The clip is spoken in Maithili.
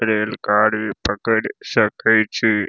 रेल गाड़ी पकड़ सकय छै।